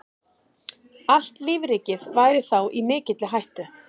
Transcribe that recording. Allt lífríkið væri þá í mikilli hættu.